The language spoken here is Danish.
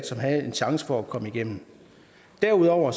som havde en chance for at komme igennem derudover